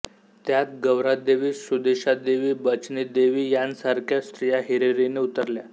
त्यात गौरादेवी सुदेशादेवी बचनीदेवी यांसारख्या स्त्रिया हिरिरीने उतरल्या